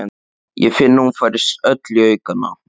Ég finn að hún færist öll í aukana.